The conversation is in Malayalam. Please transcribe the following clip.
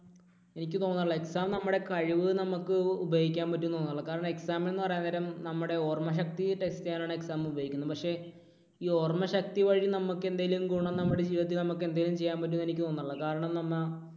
എനിക്ക് തോന്നുന്നില്ല, കാരണം exam നമ്മുടെ കഴിവ് നമുക്ക് ഉപയോഗിക്കാൻ പറ്റും എന്നു തോന്നുന്നില്ല. കാരണം exam എന്ന് പറയാൻ നേരം നമ്മുടെ ഓർമ്മ ശക്തി test ചെയ്യാൻ ആണ് exam ഉപയോഗിക്കുന്നത്. പക്ഷേ ഈ ഓർമ്മ ശക്തി വഴി നമുക്ക് എന്തെങ്കിലും ഗുണം നമ്മുടെ ജീവിതത്തിൽ നമുക്ക് ചെയ്യാൻ പറ്റുമെന്ന് തോന്നുന്നില്ല. കാരണം നമ്മ